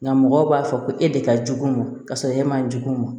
Nka mɔgɔw b'a fɔ ko e de ka jugu ka sɔrɔ e man jugu ma